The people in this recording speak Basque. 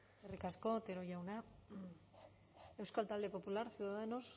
eskerrik asko otero jauna euskal talde popularra ciudadanos